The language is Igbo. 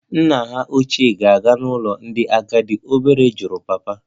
Nna hà ochie ga-aga n'ụlọ ndị agadi? Obere jụrụ papa